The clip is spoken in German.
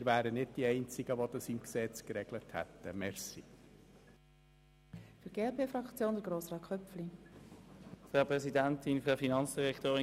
Wir wären nicht die Einzigen, die das im Gesetz geregelt hätten.